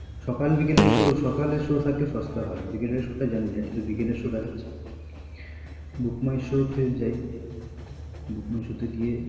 ও এখন সস্তা হয়ে গেছে টিকিট সকাল বিকেলের শোয় সকালের শোয় থাকলে সস্তা হয় বিকেলের শোয়টা জানি না কিন্তু বিকেলের শো দেখাচ্ছে Bookmyshow তেযাই book my show তেগিয়ে